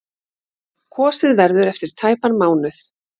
Kosið verður eftir tæpan mánuð.